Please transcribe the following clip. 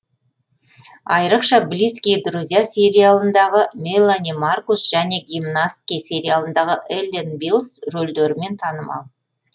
айырықша близкие друзья сериалындағы мелани маркус және гимнастки сериалындағы эллен биллс рөлдерімен танымал